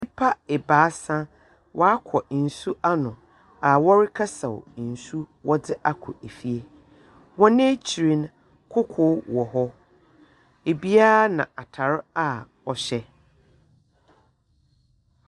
Nyimpa ebiasa, wɔakɔ nsu ano a wɔrekɛsaw nsu wɔdze akɔ fie. Hɔn ekyir no, koko eɔ hɔ. Obiara na atar a ɔhyɛ.